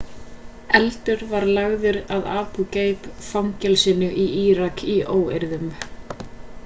eldur var lagður að abu gaib fangelsinu í írak í óeirðum